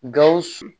Gawusu